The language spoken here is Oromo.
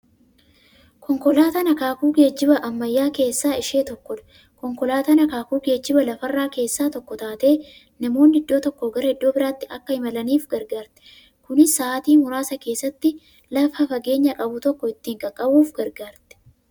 Konkolaataan akaakuu geejjiba ammayyaa keessaa ishee tokkodha. Konkolaatan akaakuu geejjiba lafarraa keessaa tokko taatee, namoonni iddoo tokkoo gara iddoo birraatti Akka imalaniif gargaarti. Kunis sa'aatii muraasa keessatti lafa fageenya qabu tokko ittiin qaqqabuuf gargaarti.